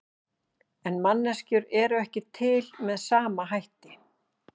En manneskjur eru ekki til með sama hætti.